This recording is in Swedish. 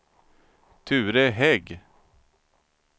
Ture Hägg